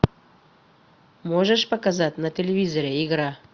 можешь показать на телевизоре игра